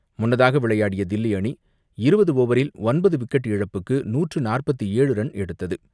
முன்னதாக விளையாடிய தில்லி அணி இருபது ஓவரில் ஒன்பது விக்கெட் இழப்புக்கு நூற்று நாற்பத்து ஏழு ரன் எடுத்தது.